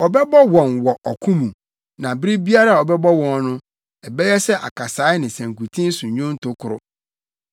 Ɔbɛbɔ wɔn wɔ ɔko mu, na bere biara a ɔbɛbɔ wɔn no ɛbɛyɛ sɛ akasae ne sankuten so nnwonto koro.